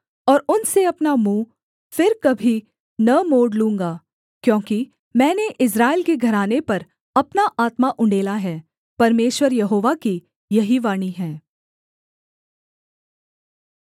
और उनसे अपना मुँह फिर कभी न मोड़ लूँगा क्योंकि मैंने इस्राएल के घराने पर अपना आत्मा उण्डेला है परमेश्वर यहोवा की यही वाणी है